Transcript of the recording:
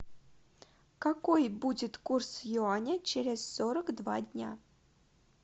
какой будет курс юаня через сорок два дня